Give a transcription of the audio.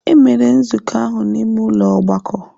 Emere nzukọ ahụ n'ime ụlọ ọgbakọ.